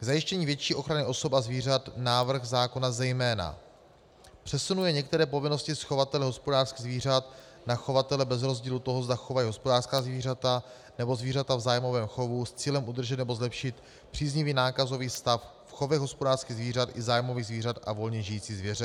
K zajištění větší ochrany osob a zvířat návrh zákona zejména přesunuje některé povinnosti z chovatele hospodářských zvířat na chovatele bez rozdílu toho, zda chovají hospodářská zvířata, nebo zvířata v zájmovém chovu, s cílem udržet nebo zlepšit příznivý nákazový stav v chovech hospodářských zvířat i zájmových zvířat a volně žijící zvěře.